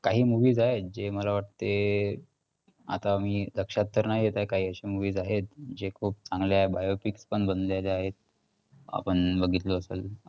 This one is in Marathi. काही movies आहेत जे मला वाटते आता मी लक्षात तर नाही येत आहे काही अशे movies आहेत जे खूप चांगले आहेत biopics पण बनलेले आहेत. आपण बघितलो असंल,